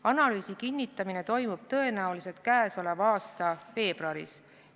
Analüüsi kinnitamine toimub tõenäoliselt käesoleva aasta veebruaris.